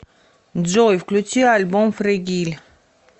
джой включи альбом фрэгиль